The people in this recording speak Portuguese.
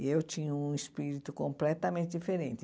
E eu tinha um espírito completamente diferente.